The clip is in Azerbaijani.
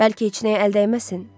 Bəlkə heç nəyə əl dəyməsin?